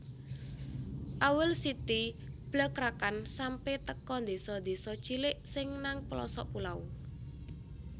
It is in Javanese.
Owl City blakrakan sampe teko ndeso ndeso cilik sing nang pelosok pulau